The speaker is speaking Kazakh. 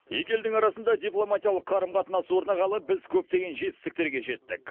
екі елдің арасында дипломатиялық қарым қатынас орнағалы біз көптеген жетістіктерге жеттік